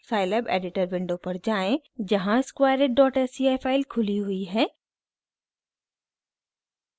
scilab editor window पर जाएँ जहाँ squareitsci फाइल खुली हुई है